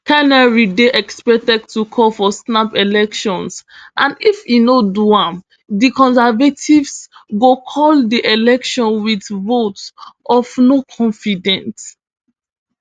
carney dey expected to call for snap elections and if e no do am di conservatives go call di election wit vote of no confidence